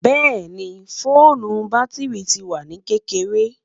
bẹẹni, foonu batiri ti wa ni kekere